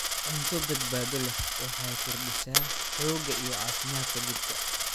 Cunto badbaado leh waxay kordhisaa xoogga iyo caafimaadka jidhka.